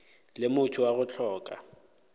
le motho wa go hloka